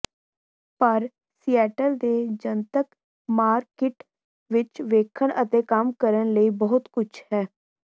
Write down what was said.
ਪਰ ਸੀਐਟਲ ਦੇ ਜਨਤਕ ਮਾਰਕੀਟ ਵਿੱਚ ਵੇਖਣ ਅਤੇ ਕੰਮ ਕਰਨ ਲਈ ਬਹੁਤ ਕੁਝ ਹੈ